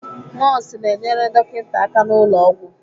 Nọọsụ na-enyere dọkịta aka n'ụlọ ọgwụ.